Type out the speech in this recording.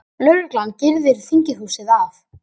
Lögreglan girðir þinghúsið af